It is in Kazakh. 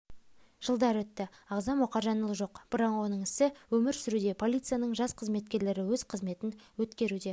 жылдар өтті ағзам мұхажанұлы жоқ бірақ оның ісі өмір сүруде полицияның жас қызметкерлері өз қызметін өткеруде